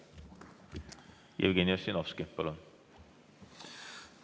Jevgeni Ossinovski, palun!